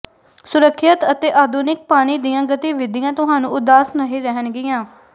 ਸੁਰੱਖਿਅਤ ਅਤੇ ਆਧੁਨਿਕ ਪਾਣੀ ਦੀਆਂ ਗਤੀਵਿਧੀਆਂ ਤੁਹਾਨੂੰ ਉਦਾਸ ਨਹੀਂ ਰਹਿਣਗੀਆਂ